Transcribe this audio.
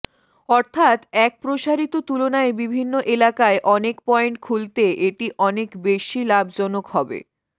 অর্থাত এক প্রসারিত তুলনায় বিভিন্ন এলাকায় অনেক পয়েন্ট খুলতে এটি অনেক বেশি লাভজনক হবে